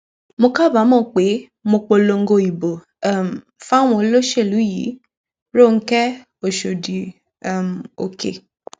mo kábàámọ pé mo polongo ìbò um fáwọn olóṣèlú yìírọńjẹ òsódì um òkè